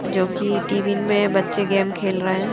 जो कि टी_वी में बच्चे गेम खेल रहे हैं ।